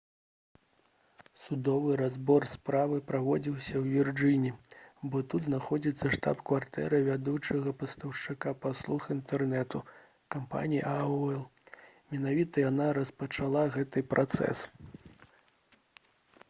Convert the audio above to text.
судовы разбор справы праводзіўся ў вірджыніі бо тут знаходзіцца штаб-кватэра вядучага пастаўшчыка паслуг інтэрнэту кампаніі aol менавіта яна распачала гэты працэс